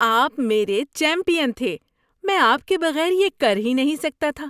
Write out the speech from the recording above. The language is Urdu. آپ میرے چیمپئن تھے! میں آپ کے بغیر یہ کر ہی نہیں سکتا تھا۔